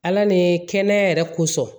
Ala ni kɛnɛya yɛrɛ kosɔn